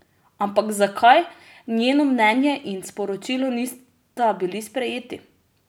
Ampak zakaj njeno mnenje in sporočilo nista bili sprejeti?